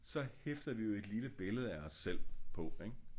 Så hæfter vi jo et lille billede af os selv på ik